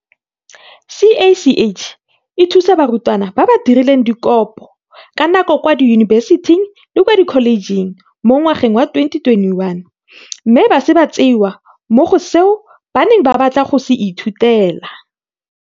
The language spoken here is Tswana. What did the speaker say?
CACH e thusa barutwana ba ba dirileng dikopo ka nako kwa diyunibesiting le kwa dikholejeng mo ngwageng wa 2021 mme ba sa tseewa mo go seo ba neng ba batla go se ithutela.